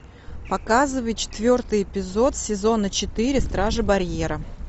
показывай четвертый эпизод сезона четыре стражи барьера